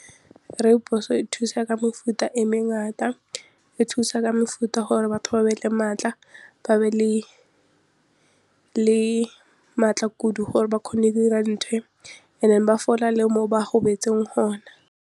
Rooibos e thusa ka mefuta e mengata, e thusa ka mefuta gore batho ba be le maatla, ba be le maatla kudu gore ba kgone go dira and then ba fola le mo ba gobetseng gona.